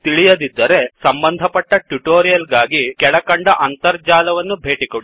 ತಿಳಿಯದಿದ್ದರೆ ಸಂಬಂಧಪಟ್ಟ ಟ್ಯುಟೊರಿಯಲ್ ಗಾಗಿ ಕೆಳಕಂಡ ಅಂತರ್ಜಾಲವನ್ನು ಭೇಟಿಕೊಡಿ